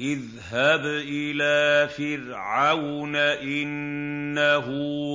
اذْهَبْ إِلَىٰ فِرْعَوْنَ إِنَّهُ